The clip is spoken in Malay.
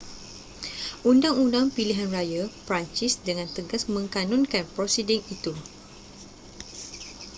undang-undang pilihan raya perancis dengan tegas mengkanunkan prosiding itu